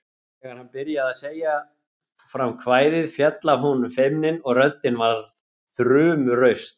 Þegar hann byrjaði að segja fram kvæðið féll af honum feimnin og röddin varð þrumuraust